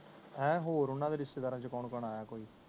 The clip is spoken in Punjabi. ਏ ਹੋਰ ਓਹਨਾ ਦੇ ਰਿਸ਼ਤੇਦਾਰਾਂ ਚੋ ਕੌਣ ਕੌਣ ਆਯਾ ਬਈ